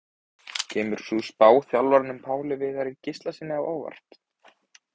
Kemur sú spá þjálfaranum Páli Viðari Gíslasyni á óvart?